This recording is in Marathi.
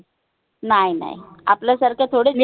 नाय नाय आपल्यासारखं